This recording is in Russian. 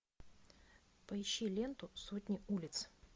поищи ленту сотни улиц